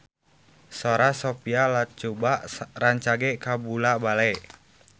Sora Sophia Latjuba rancage kabula-bale